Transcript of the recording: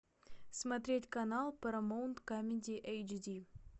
смотреть канал парамаунт камеди эйчди